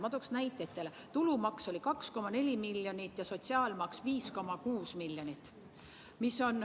Ma toon teile näiteid: tulumaksu oli 2,4 miljonit ja sotsiaalmaksu 5,6 miljonit.